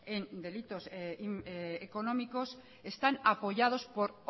en delitos económicos están apoyados por